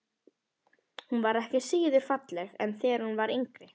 Hún var ekki síður falleg en þegar hún var yngri.